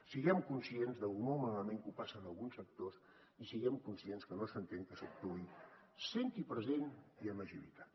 siguem conscients de lo molt malament que ho passen alguns sectors i siguem conscients que no s’entén que s’actuï sent hi present i amb agilitat